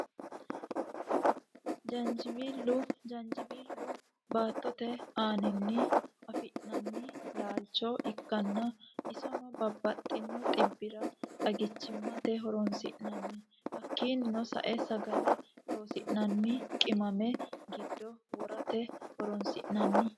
Jaanjiweello, jaanjiweelu baatote aaninni afi'nanni laalicho ikkanna isino babaxino xibira xagichimatte horonsinnanni hakiinino sae sagale loosinnanni qimame gido worate horonsinanni